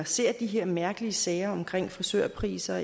ser de her mærkelige sager om frisørpriser